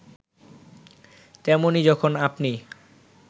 তেমনি যখন আপনি